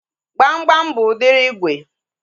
Gbamgbam bụ udiri ígwè